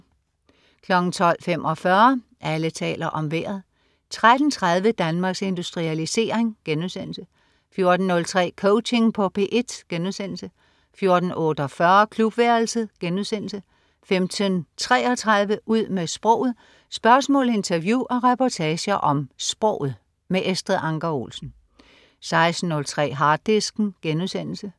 12.45 Alle taler om Vejret 13.30 Danmarks Industrialisering* 14.03 Coaching på P1* 14.48 Klubværelset* 15.33 Ud med sproget. Spørgsmål, interview og reportager om sproget. Estrid Anker Olsen 16.03 Harddisken*